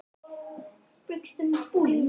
Ætli þetta sé ekki orðið nóg hjá okkur.